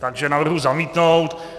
Takže navrhuji zamítnout.